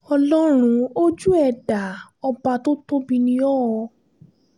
ọlọ́run ojú ẹ̀ dá ọba tó tóbi ni o o